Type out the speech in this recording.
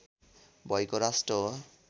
भएको राष्ट्र हो